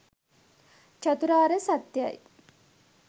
චතුරාර්ය සත්‍යයයි.